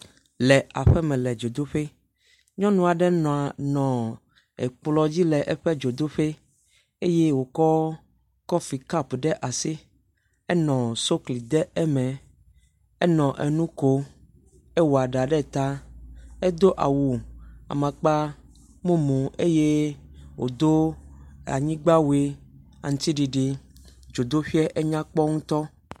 Le aƒeme le dzodoƒe. Nyɔnu aɖe nɔ nɔ ekplɔ dzi le dzodoƒi eye wokɔ kɔfi kapu ɖe asi enɔ sukli dem eme, enɔ nu kom. Ewɔ ɖa ɖe ta edo awu amakpamumu eye wodo anyigbawui aŋtsiɖiɖi.